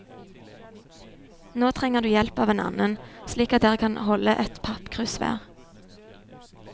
Nå trenger du hjelp av en annen, slik at dere kan holde ett pappkrus hver.